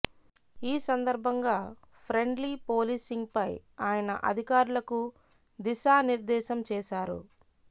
ఈ సందర్భంగా friendly policing పై ఆయన అధికారులకు దిశా నిర్దేశం చేశారు